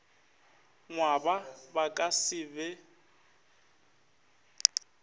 ngwaba ba ka se be